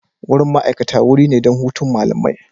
Wurin ma'aikata wuri ne don hutun malamai.